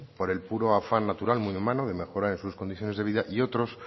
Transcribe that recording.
por el puro afán natural muy humano de mejorar en sus condiciones de vida y otros